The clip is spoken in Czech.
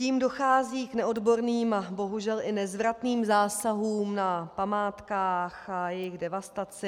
Tím dochází k neodborným a bohužel i nezvratným zásahům na památkách a jejich devastaci.